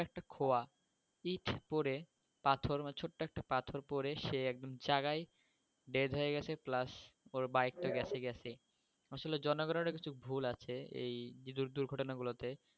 একটা খোয়া ইট পরে পাথর মানে ছোট্ট একটা পাথর পরে সে একদম জায়গায় dead হয়ে গেছে plus ওর bike তো গেছে গেছেই আসলে জনগণের ও কিছু ভুল আছে এই দূর~দুর্ঘটনা গুলোতে